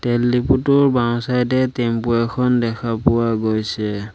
তেল দিপুটোৰ বাওঁ-ছাইড এ টেম্পু এখন দেখা পোৱা গৈছে।